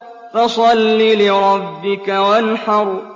فَصَلِّ لِرَبِّكَ وَانْحَرْ